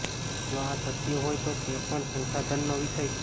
જો આ સત્ય હોય તો તે પણ સંશાધનનો વિષય છે